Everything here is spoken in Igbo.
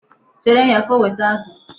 Chere ya ka o weta azụ.